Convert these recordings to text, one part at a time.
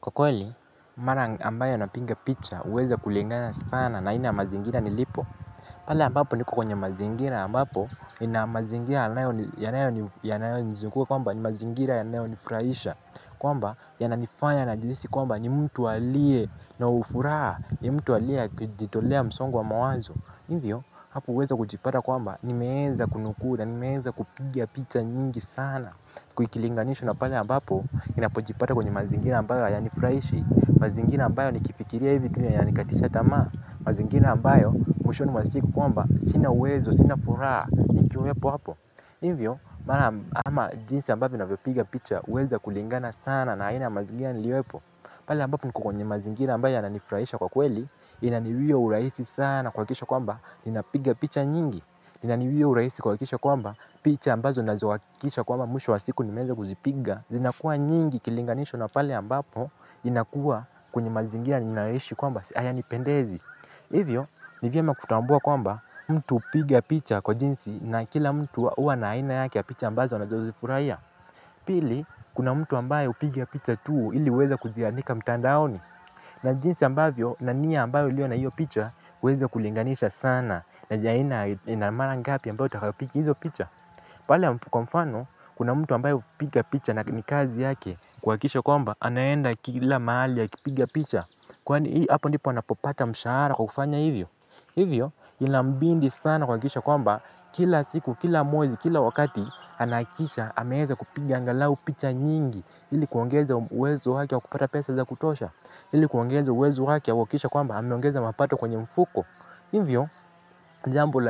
Kwa kweli, mara ambayo na piga picha, huweza kulingana sana na ile mazingira nilipo. Pala ambapo niko kwenye mazingira ambapo, kwamba ni mazingira yanayo nifurahisha. Kwamba, yananifanya na jihisi kwamba, ni mtu aliye na ufuraha, ni mtu aliye jitolea msongo wa mawazo. Hivyo hapo huweza kujipata nimeweza kunukula nineweza kupiga picha nyingi sana huku ikilinganishwa na pale ambapo ninapojipata kwenye mazingira ambayo haya nifurahishi. Mazingira ambayo nikifikiria hivi tu yananikatisha tamaa. Mazingira ambayo mwishoni mwa siku kwamba sina uwezo, sina furaha, nikiwepo hapo hivyo, ama jinsi ambavyo navyo piga picha huweza kulingana sana na aina mazingira niliwepo. Pala ambapo niko kwenye mazingina ambayo yanifuraisha kwa kweli inani huyo urahisi sana kuhakikisha kwamba, ninapiga picha nyingi. Nina n hiyo urahisi kuhakikisha kwamba picha ambazo nazo hakikisha kwamba mwisho wa siku nimeweza kuzipiga. Zinakuwa nyingi ikilinganishwa na pale ambapo inakua kwenye mazingira ninayoishi kwamba haya nipendezi. Hivyo ni vyema kutambua kwamba mtu hupiga picha kwa jinsi na kila mtu huwa na aina yake ya picha ambazo anazo zi furahia. Pili kuna mtu ambayo upigia picha tuu ili uweze kuzianika mtandaoni na jinsi ambavyo na nia ambayo lio na hiyo picha uweze kulinganisha sana yenye haina ina mara ngapi ambayo utakayo piga hizo picha. Pale kwa mfano kuna mtu ambaye hupiga picha lakini kazi yake kuhakikisha kwamba anaenda kila mahali ya akipiga picha. Kwani hapo ndipo anapopata mshahara kwa kufanya hivyo. Hivyo inambidi sana kuhakikisha kwamba kila siku kila mwezi kila wakati anahakikisha ameweza kupiga angalau picha nyingi ili kuongeza uwezo wake wa kupata pesa za kutosha ili kuongeza uwezo ya hakikisha kwamba, ameongeza mapato kwenye mfuko. Hivyo, jambo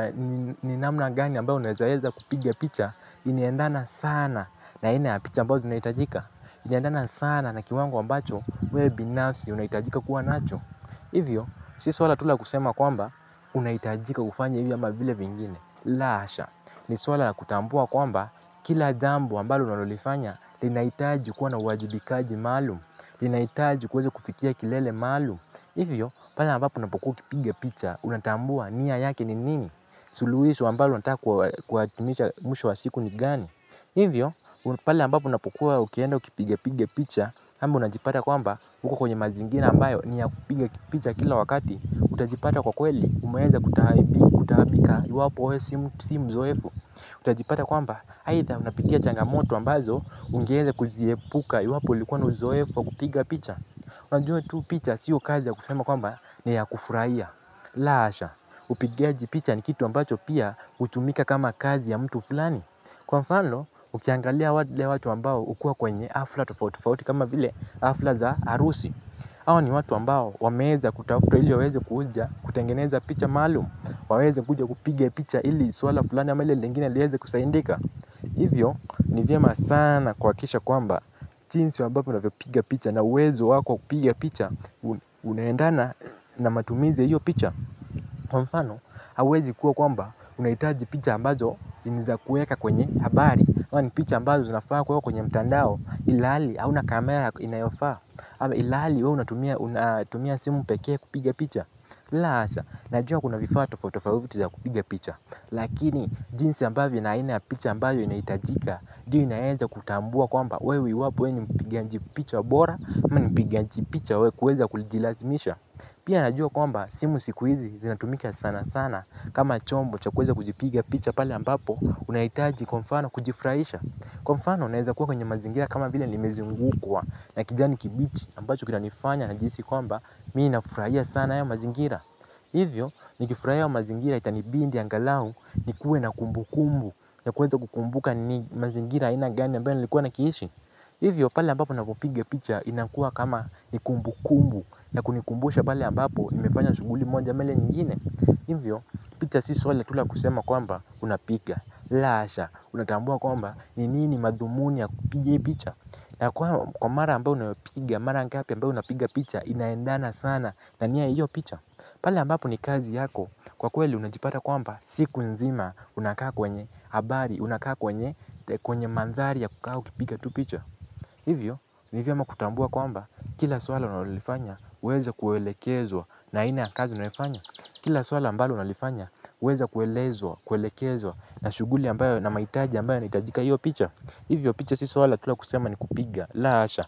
ni namna gani ambayo unazaeza kupiga picha, inaendana sana na aina ya picha ambazo zinahitajika. Ikiendana sana na kiwango ambacho, wewe binafsi unahitajika kuwa nacho. Hivyo, si swala tu la kusema kwamba, unahitajika kufanya hivo ama vile vingine. La asha, ni swala la kutambua kwamba, kila jambo ambalo unalolifanya, linahitaji kuwa na uwajibikaji maalum. Linahitaji kuweza kufikia kilele maalum. Hivyo, pale ambapo unapokua ukipiga picha unatambua nia yake ni nini. Suluhisho ambalo nata kuatimisha mwisho wa siku ni gani. Hivyo, pale ambapo unapokuwa ukienda ukipiga piga picha amao unajipata kwamba uko kwenye mazingina ambayo ni ya kupiga picha kila wakati. Utajipata kwa kweli umeweza kutaabika iwapo wewe si mzoefu. Utajipata kwamba aitha unapitia changa moto ambazo ungeweze kuziepuka likuwa na uzoefu wa kupiga picha unajua tu picha sio kazi ya kusema kwamba ni ya kufurahia la asha upigaji picha ni kitu ambacho pia hutumika kama kazi ya mtu fulani kwa mfano ukiangalia watu ambao hukua kwenye hafla tofautu tofauti kama vile hafla za harusi hao ni watu ambao wameweza kutafuta ili waweze kuja kutengeneza picha maalum waweze kuja kupiga picha ili swala fulani ama ile lingine liweze kusaidika. Hivyo ni vyema sana kuhakikisha kwamba jinsi ambavyo unapiga picha na uwezo wako wa kupiga picha unaendana na matumizi ya hiyo picha. Kwa mfano hauwezi kuwa kwamba unahitaji picha ambazo ni za kuweka kwenye habari kwani picha ambazo zinafaa kuwekwa kwenye mtandao ilali hauna kamera inayofaa ama ilhali wewe unatumia simu peke kupiga picha. La ashasa, najua kuna vifaa tofauti tofauti za kupiga picha. Lakini jinsi ambavyo na ina picha ambayo inahitajika hio inaeza kutambua kwamba wewe iwapo wewe ni mpigaji picha bora ama ni mpigaji picha wa kuweza kujilazimisha pia najua kwamba simu siku hizi zinatumika sana sana kama chombo cha kuweza kujipiga picha pale ambapo unahitaji kwa mfano kujifurahisha kwa mfano unaweza kuwa kwenye mazingira kama vile nimezungukwa na kijani kibichi ambacho kinanofanya najiskia kwamba mimi nafurahia sana haya mazingira hivyo nikafurahia hayo mazingira itanibindi angalau nikuwme na kumbukumbu ya kuweza kukumbuka ni mazingira aina gani ambayo nilikuwa nikiishi. Hivyo pale ambapo na kupiga picha inakua kama ni kumbukumbu ya kunikumbusha pale ambapo nimefanya shughuli moja ama ile nyingine. Hivyo picha si swali la kusema kwamba unapiga. La asha unatambua kwamba ni nini madhumuni ya kupiga hii picha. Kwa mara ambayo unapiga, mara ngapi ambayo unapiga picha inaendana sana na nia hiyo picha. Pala ambapo ni kazi yako, kwa kweli unajipata kwamba, siku nzima unakaa kwenye, habari unakaa kwenye, kwenye mandhari ya kukaa ukipiga tu picha. Hivyo, nivyema kutambua kwamba, kila swala unalolifanya, uweze kuelekezwa na aina ya kazi unayofanya. Kila swala ambalo unalifanya, uweze kuelekezwa na shughuli ambayo na mahitaji ambayo yanahitajika hiyo picha. Hivyo picha si suala tu la kusema ni kupiga, la asha.